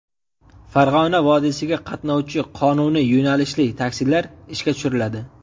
Farg‘ona vodiysiga qatnovchi qonuniy yo‘nalishli taksilar ishga tushiriladi.